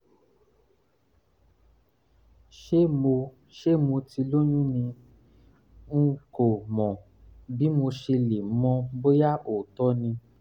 ṣé mo ṣé mo ti lóyún ni??? n kò mọ bí mo ṣe lè mọ̀ bóyá òótọ́ ni